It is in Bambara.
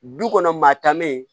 Du kɔnɔ maa tan me